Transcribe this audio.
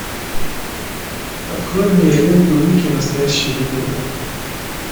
открой мне ленту мики настоящая легенда